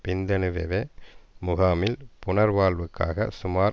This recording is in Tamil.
பிந்துனுவெவ முகாமில் புனர்வாழ்வுக்காக சுமார்